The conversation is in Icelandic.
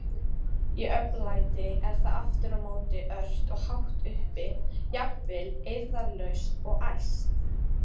Í oflæti er það aftur á móti ört og hátt uppi, jafnvel eirðarlaust og æst.